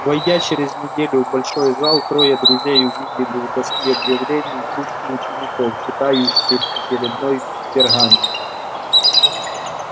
войдя через неделю в большой зал трое друзей увидели у доски объявлений кучку учеников читающих очередной пергамент